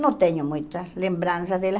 Não tenho muita lembrança dela.